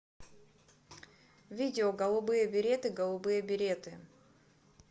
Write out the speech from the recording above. видео голубые береты голубые береты